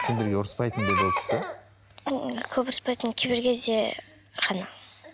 сендерге ұрыспайтын ба еді ол кісі көп ұрыспайтын кейбір кезде ғана